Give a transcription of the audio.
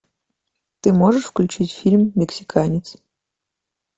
ты можешь включить фильм мексиканец